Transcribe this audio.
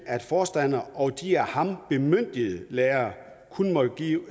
at forstander og de af ham bemyndigede lærere kun måtte give